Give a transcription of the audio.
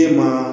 E maa